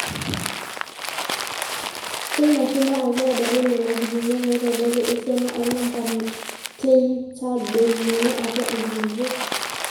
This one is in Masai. Teina shuma ake edoli Nena kipimot neitodolu esiana oonamba teneitadoikini atwa nkulupuok.